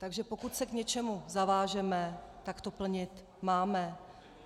Takže pokud se k něčemu zavážeme, tak to plnit máme.